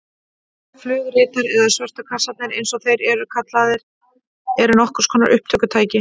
Flugritar eða svörtu kassarnir eins og þeir eru líka kallaðir eru nokkurs konar upptökutæki.